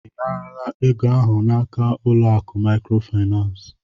Ị naara ego ahụ n'aka ụlọ akụ Maịkrofaịnans?